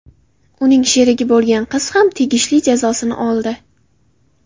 Uning sherigi bo‘lgan qiz ham tegishli jazosini oldi.